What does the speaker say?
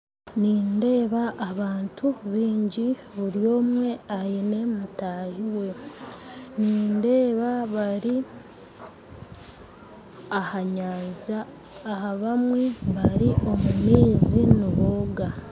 Nindeeba abantu baingi buri omwe aine mutahiwe, nindeeba bari aha nyanja abamwe bari omu maizi nibooga .